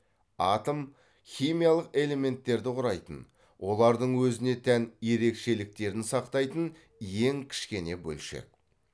атом химиялық элементтерді құрайтын олардың өзіне тән ерекшеліктерін сақтайтын ең кішкене бөлшек